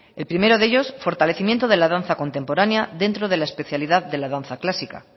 el primero de ellos fortalecimiento de la danza contemporánea dentro de la especialidad de la danza clásica